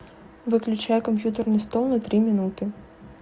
выключай компьютерный стол на три минуты